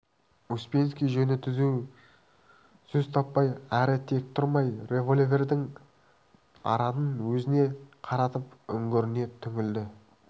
успенский жөні түзу сөз таппай әрі тек тұрмай револьвердің аранын өзіне қаратып үңгіріне үңілді